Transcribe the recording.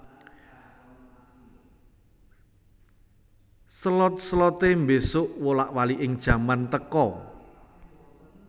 Selot selote mbesuk wolak waliking jaman teka